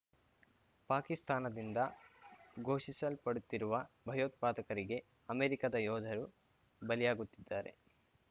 ಪಾಕಿಸ್ತಾನದಿಂದ ಘೋಷಿಸಲ್ಪಡುತ್ತಿರುವ ಭಯೋತ್ಪಾದಕರಿಗೆ ಅಮೆರಿಕದ ಯೋಧರು ಬಲಿಯಾಗುತ್ತಿದ್ದಾರೆ